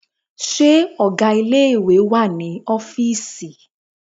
Ṣé ọgá ilé ìwé wà ní ọ́fìísì?